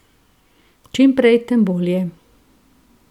Čim prej, tem bolje.